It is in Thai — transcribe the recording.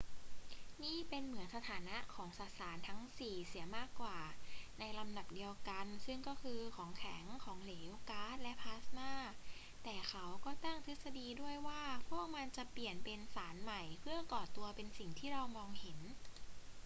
นี่เป็นเหมือนสถานะของสสารทั้งสี่เสียมากกว่า ในลำดับเดียวกัน ซึ่งก็คือของแข็ง ของเหลว ก๊าซ และพลาสม่า แต่เขาก็ตั้งทฤษฎีด้วยว่าพวกมันจะเปลี่ยนเป็นสารใหม่เพื่อก่อตัวเป็นสิ่งที่เรามองเห็น